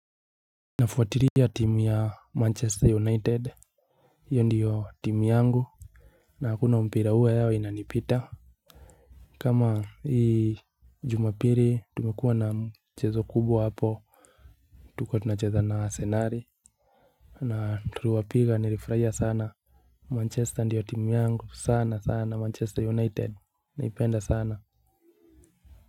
Nafuatilia timu ya Manchester United. Hiyo ndiyo timu yangu. Na hakuna mpira huwa yao inanipita. Kama hii jumapili tumekuwa na mchezo kubwa hapo. Tulikuwa tunacheza na arsenali. Na tuliwapiga nilifurahia sana Manchester ndiyo timu yangu sana sana Manchester United naipenda sana.